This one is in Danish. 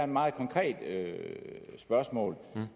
meget konkret spørgsmål om